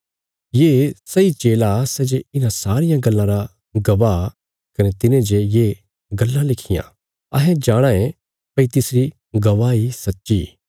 ये सैई चेला सै जे इन्हां सारियां गल्लां रा गवाह कने तिने जे ये गल्लां लिखियां अहें जाणाँ ये भई तिसरी गवाही सच्ची